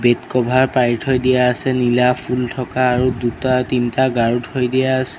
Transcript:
Cover পাৰি থৈ দিয়া আছে নীলা ফুল থকা আৰু দুটা তিনটা গাৰু থৈ দিয়া আছে।